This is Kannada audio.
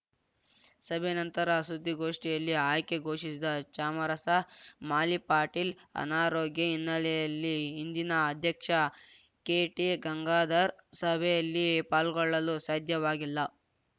ಸಭೆ ನಂತರ ಸುದ್ದಿಗೋಷ್ಠಿಯಲ್ಲಿ ಆಯ್ಕೆ ಘೋಷಿಸಿದ ಚಾಮರಸ ಮಾಲಿಪಾಟೀಲ್‌ ಅನಾರೋಗ್ಯ ಹಿನ್ನಲೆಯಲ್ಲಿ ಹಿಂದಿನ ಅಧ್ಯಕ್ಷ ಕೆಟಿಗಂಗಾಧರ್‌ ಸಭೆಯಲ್ಲಿ ಪಾಲ್ಗೊಳ್ಳಲು ಸಾಧ್ಯವಾಗಿಲ್ಲ